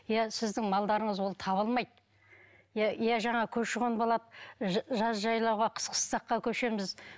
иә сіздің малдарыңыз ол табылмайды иә иә жаңағы көрші қон болады жаз жайлауға қыс қыстаққа көшеміз